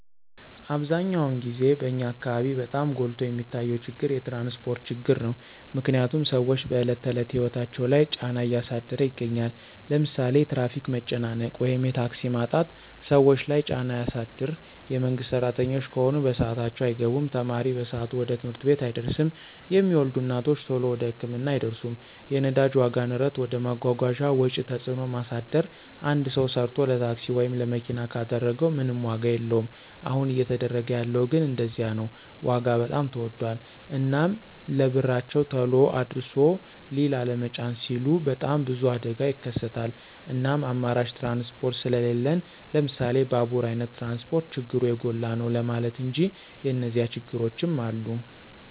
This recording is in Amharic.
አብዛኛውን ግዜ በኛ አካበቢ በጣም ጎልቶ የሚታየው ችግር የትራንስፖርት ችግር ነው። ምክንያትም ስዎች በዕለት ተዕለት ህይወታቸው ላይ ጫና እያሳደረ ይገኛል። ለምሳሌ የትራፊክ መጨናነቅ ወይም የታክሲ ማጣት ሰዎች ለይ ጫና ያሳድር የመንግስት ስራተኞች ከሆኑ በስአታቸው አይገቡም፣ ተማሪ በሰአቱ ወደ ትምህርት ቤት አይደርስም፣ የሚወልዱ እናቶች ተሎ ወደ ህክምና አይደርሱም። የነዳጅ ዋጋ ንረት ወደ መጓጓዣ ወጪ ተጽዕኖ ማሳደር አንድ ሰው ሰርቶ ለታክሲ ወይም ለመኪና ካደረገው ምንም ዋጋ የለወም አሁን እየተደረገ ያለው ግን እንደዚያ ነው ዋጋ በጣም ተወዶል። እናም ለብርቸው ተሎ አድርሶ ሊላ ለመጫን ሲሉ በጣም ብዙ አደጋ ይከሰታል እናም አማራጭ ትራንስፖርት ስሊለን ለምሳሌ ባቡራ አይነት ትራንስፖርት ችግሩ የጎላ ነው ለማለት እንጂ የኒዚያ ችግሮችም አሉ።